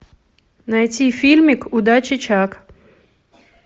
найти фильмик удачи чак